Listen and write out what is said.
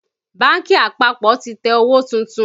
Bánkì àpapọ̀ ti tẹ owó tuntun